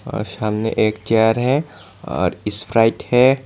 और सामने एक चेयर है और स्प्राइट है।